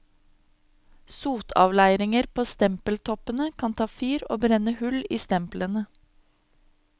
Sotavleiringer på stempeltoppene kan ta fyr og brenne hull i stemplene.